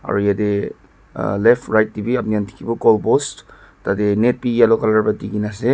aru yatae ah left right tae bi apni khan dikhi wo goalpost tatae net bi yellow colour pra dikaena ase--